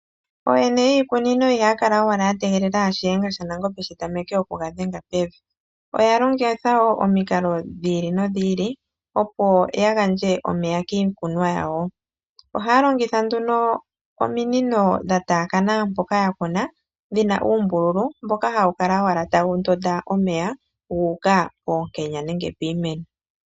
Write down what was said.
Ooyene yiikunino ihaya kala owala ya tegelela shiyenga shanangombe shi tameke okuga dhenga pevi. Oya longitha wo omikalo dhi ili nodhi ili opo ya gandje omeya kiikunwa yawo. Ohaya longitha nduno ominino dha taakana mpoka ya kuna, dhina uumbululu mboka hawu kala owala tawu ndonda omeya gu uka poonkenya nenge piimeno.